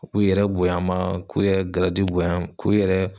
U k'u yɛrɛ bonya ma ,k'u yɛrɛ bonya k'u yɛrɛ